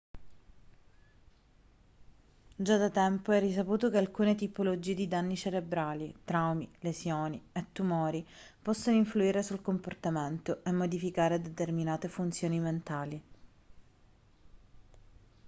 già da tempo è risaputo che alcune tipologie di danni cerebrali traumi lesioni e tumori possono influire sul comportamento e modificare determinate funzioni mentali